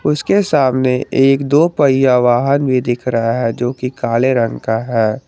इसके सामने एक दो पहिया वाहन भी दिख रहा है जो कि काले रंग का है।